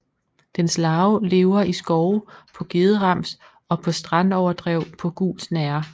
Dens larve lever i skove på gederams og på strandoverdrev på gul snerre